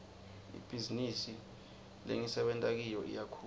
ibhizinisi lengisebenta kiyo iyakhula